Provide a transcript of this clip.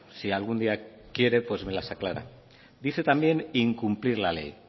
si algún día quiere me las aclara dice también incumplir la ley